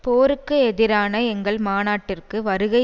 போருக்கு எதிரான எங்கள் மாநாட்டிற்கு வருகை